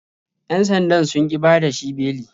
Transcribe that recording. Yan sandan sun ƙi bada shi beli.